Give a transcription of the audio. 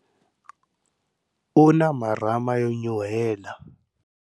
U na marhama yo nyuhela.